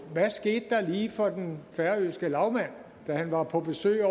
hvad skete der lige for den færøske lagmand da han var på besøg